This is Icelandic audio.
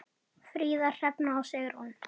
Fríða, Hrefna og Sigrún.